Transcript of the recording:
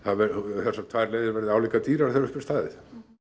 þessar tvær leiðir verði álíka dýrar þegar upp er staðið